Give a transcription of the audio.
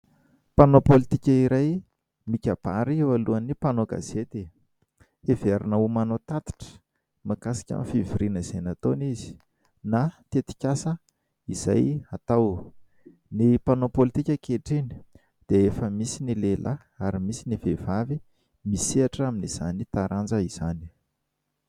Mpanao pôlitika iray mikabary eo alohan'ny mpanao gazety. Heverina ho manao tatitra mahakasika ny fivoriana izay nataony izy na tetikasa izay atao. Ny mpanao pôlitika ankehitriny dia efa misy ny lehilahy ary misy ny vehivavy misehatra amin'izany taranja izany.